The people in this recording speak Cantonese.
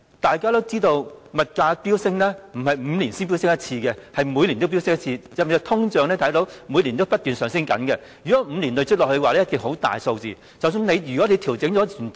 大家也知道，物價飆升並非5年才飆升一次，而是每年也飆升，大家也看到每年不斷通脹 ，5 年累積下來，數字一定會很大，即使已作出調整，數字仍是滯後。